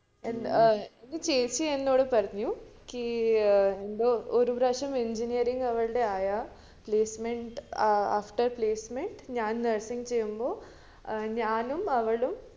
ഏർ എൻ്റെ ചേച്ചി എന്നോട് പറഞ്ഞു എനിക്ക് ഏർ എന്തോ ഒരു പ്രാവശ്യം engineering അവൾടെ ആയാ placement after placement ഞാൻ nursing ചെയ്യുമ്പോ ഞാനും അവളും